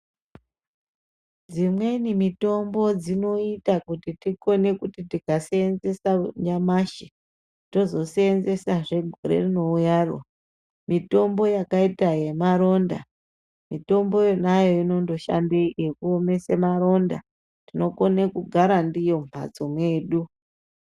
Dzimweni mitombo dzinoita kuti tikaseenzesa nyamshi tozoseenzesa hee goro rinouya ro mitombo yakaita yemaronda mitombo yonayo inoshande kuomesa maronda tinokone kugara ndiyo mumhatso medu .